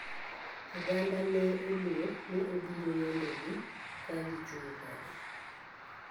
Oganda ne oluor ni obiro yombo gi ka gi chung kode.